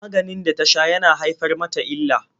Maganin da ta sha yana haifar mata illa.